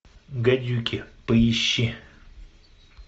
гадюки поищи